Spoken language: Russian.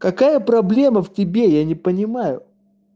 какая проблема в тебе я не понимаю